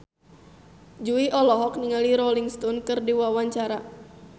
Jui olohok ningali Rolling Stone keur diwawancara